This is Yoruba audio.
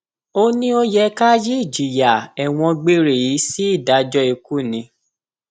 ó ní ó yẹ ká yí ìjìyà ẹwọn gbére yìí sí ìdájọ ikú ni